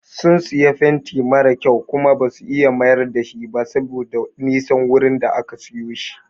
Sun siyo fenti mara kyau Kuma basu iya mayar dashi ba saboda Nisan wurin da aka siyo shi.